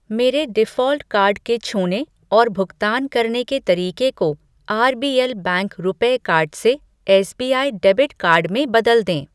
मेरे default card के छूने और भुगतान करने के तरीके को R B L bank RuPay card से एसबीआई डेबिट कार्ड में बदल दें।